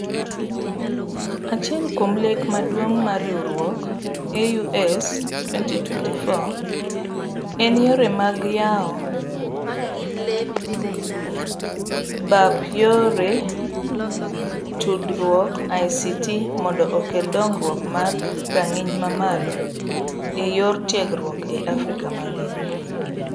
Achiel kuom lek maduong' mar riwruok AU'S 2024 en yore mag yawo mbap yore tudruok ICT mondo okel dongruok mar ranginy mamalO eyore tiegruok e Africa mangima.